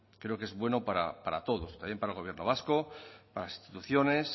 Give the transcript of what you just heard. creo que es bueno para todos también para el gobierno vasco para las instituciones